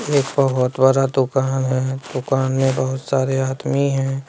एक बहोत बड़ा दुकान है दुकान में बहुत सारे आदमी है।